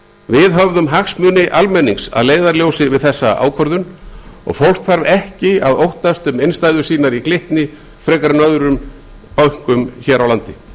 við höfðum hagsmuni almennings að leiðarljósi við þessa ákvörðun og fólk þarf ekki að óttast um innstæður sínar í glitni frekar en öðrum bönkum hér á landi